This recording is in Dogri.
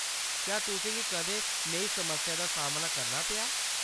क्या तुसें गी कदें नेही समस्या दा सामना करना पेआ ?